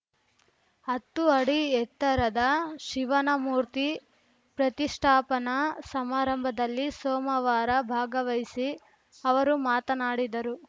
ಹತ್ತು ಅಡಿ ಎತ್ತರದ ಶಿವನ ಮೂರ್ತಿ ಪ್ರತಿಷ್ಠಾಪನಾ ಸಮಾರಂಭದಲ್ಲಿ ಸೋಮವಾರ ಭಾಗವಹಿಸಿ ಅವರು ಮಾತನಾಡಿದರು